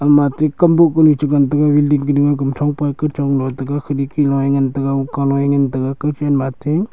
ma tikam bu kune chu ngan taiga kunchong pa kunchong lo taiga kinI kI loI kaloI ngan taiga kowphai.